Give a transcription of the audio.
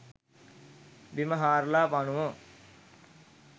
බිම හාරලා පණුවො